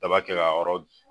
Daba kɛ ka a yɔrɔ